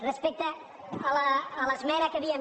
respecte a l’esmena que havíem